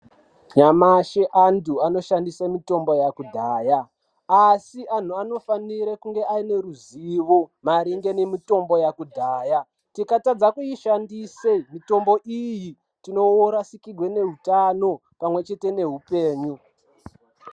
Nyamashi antu anoshandise mutombo yakudhaya, asi anhu anofanira kunge aineruzivo maringe nemitombo yakudhaya. Tikatadza kuishandise mitombo iyi tinorasikirwe neutano pamwechete nehupenyu.